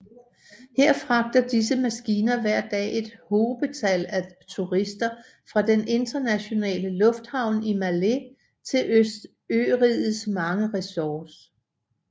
Her fragter disse maskiner hver dag et hobetal af turister fra den internationale lufthavn i Malé til ørigets mange resorts